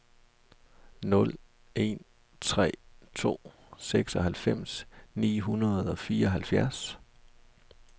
nul en tre to seksoghalvfems ni hundrede og fireoghalvfjerds